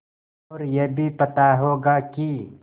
और यह भी पता होगा कि